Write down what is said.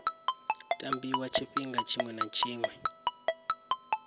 tambiwa tshifhinga tshiṅwe na tshiṅwe